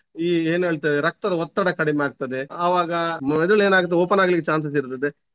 ಈ ಏನ್ ಹೇಳ್ತೇವೆ ರಕ್ತದ ಒತ್ತಡ ಕಡಿಮೆ ಆಗ್ತದೆ ಆವಾಗ ಮೆದುಳು ಏನಾಗ್ತದೆ open ಆಗ್ಲಿಕ್ಕೆ chances ಇರ್ತದೆ.